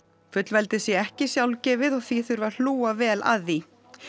fullveldið sé ekki sjálfgefið og því þurfi að hlúa vel að því